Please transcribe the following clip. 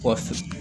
Kɔfɛ